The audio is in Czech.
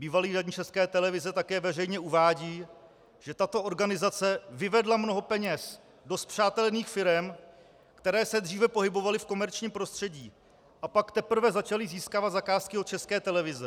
Bývalý radní České televize také veřejně uvádí, že tato organizace vyvedla mnoho peněz do spřátelených firem, které se dříve pohybovaly v komerčním prostředí, a pak teprve začaly získávat zakázky od České televize.